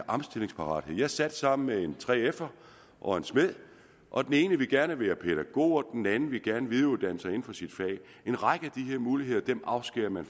omstillingsparathed jeg sad sammen med en 3f’er og en smed og den ene ville gerne være pædagog og den anden ville gerne videreuddanne sig inden for sit fag en række af de her muligheder afskærer man